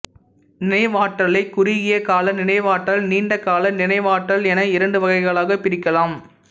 நினைவாற்றலை குறுகிய கால நினைவாற்றல் நீண்டகால நினைவாற்றல் என இரண்டு வகைகளாகப் பிரிக்கலாம்